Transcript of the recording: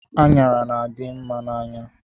Anyara na-adimma n'anya